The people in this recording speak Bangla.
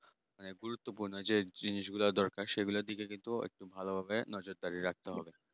অনেক গুরুত্বপূর্ণ যে জিনিস গুলো দরকার সেগুলোর দিকে কিন্তু ভালোভাবে নজরদারি রাখতে হবে